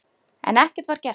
En ekkert var gert.